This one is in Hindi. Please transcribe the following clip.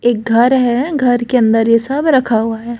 एक घर है घर के अंदर ये सब रखा हुआ है।